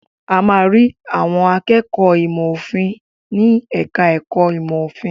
A máa ń rí àwọn akẹ́kọ̀ọ́ ìmọ̀-òfin ní ẹ̀ka-ẹ̀kọ́ ìmọ̀-òfin.